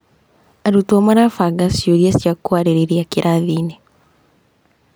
Arutwo marabanga ciũria cia kũarĩrĩria kĩrathi-inĩ.